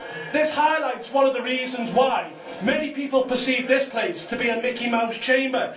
This highlights one of the reasons why many people perceive this place to be a Mickey Mouse chamber.